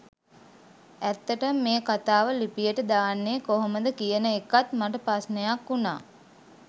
ඇත්තටම මේ කතාව ලිපියට දාන්නෙ කොහොමද කියන එකත් මට ප්‍රශ්ණයක් වුනා.